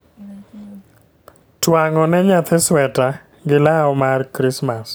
Twang'o ne nyathi sweta gi law mar krismas